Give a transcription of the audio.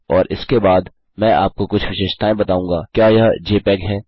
और इसके बाद मैं आपको कुछ विशेषताएँ बताऊँगा क्या यह जपेग है